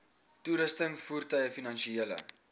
toerusting voertuie finansiële